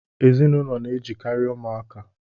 Ezinụlọ na-ejikari umuaka